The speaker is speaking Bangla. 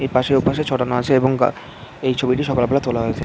এপাসে ওপাশে ছড়ানো আছে এবং গা এই ছবিটি সকালবেলা তোলা হয়েছে।